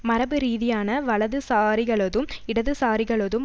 மரபுரீதியான வலதுசாரிகளதும் இடதுசாரிகளதும்